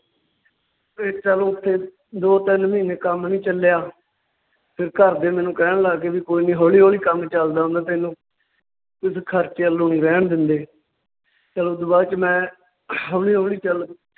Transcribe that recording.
ਤੇ ਚੱਲ ਉੱਥੇ ਦੋ ਤਿੰਨ ਮਹੀਨੇ ਕੰਮ ਨਹੀਂ ਚੱਲਿਆ ਤੇ ਘਰਦੇ ਮੈਨੂੰ ਕਹਿਣ ਲੱਗ ਗਏ ਵੀ ਕੋਈ ਨਈਂ ਹੌਲੀ ਹੌਲੀ ਕੰਮ ਚੱਲਦਾ ਹੁੰਦਾ ਤੈਨੂੰ ਖਰਚੇ ਰਹਿਣ ਦਿੰਦੇ, ਚੱਲ ਓਦੂ ਬਾਅਦ ਚ ਮੈਂ ਹੌਲੀ ਹੌਲੀ ਚੱਲ